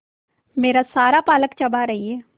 मेरा सारा पालक चबा रही है